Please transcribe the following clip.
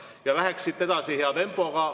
Ja läheks siit edasi hea tempoga.